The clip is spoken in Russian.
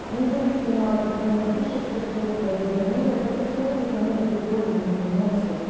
независимо от того напишешь то что это либо нет это все равно никому никакой пользы не приносит